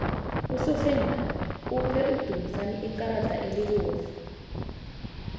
usofengwana uphe udumisani ikarada elibovu